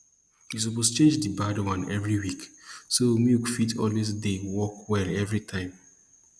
you suppose change di bad one every week so milk fit always dey work well every time